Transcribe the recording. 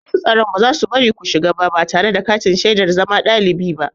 Masu tsaro ba za su bari ku shiga ba tare da katin shaidar zama ɗalibi ba.